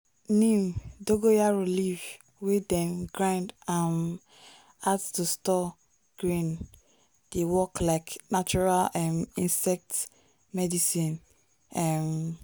neem(dogo yaro) leaf wey dem grind um add to store grain dey work like natural um insect medicine. um